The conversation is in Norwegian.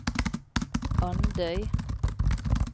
Andøy